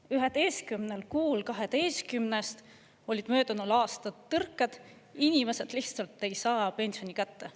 11 kuul 12-st olid möödunud aastal tõrked, inimesed lihtsalt ei saa pensioni kätte.